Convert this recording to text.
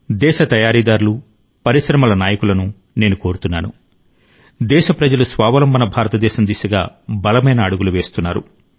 దేశ తయారీదారులు పరిశ్రమల నాయకులను నేను కోరుతున్నాను దేశ ప్రజలు స్వావలంబన భారతదేశం దిశగా బలమైన అడుగులు వేస్తున్నారు